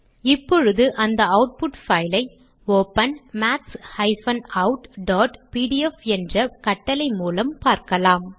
இப்பொழுது அந்த output file ஐ ஒப்பன் maths outபிடிஎஃப் என்ற கட்டளை மூலம் பார்க்கலாம்